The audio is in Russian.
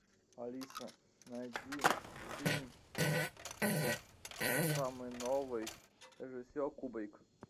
алиса найди фильм самый новый режиссер кубрик